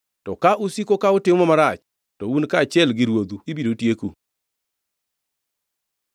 To ka usiko ka utimo marach, to un kaachiel gi ruodhu ibiro tieku.”